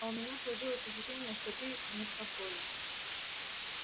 а у меня сложилось ощущение что ты не в фафоре